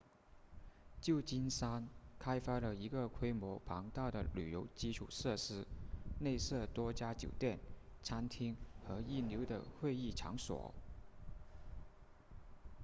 旧金山开发了一个规模庞大的旅游基础设施内设多家酒店餐厅和一流的会议场所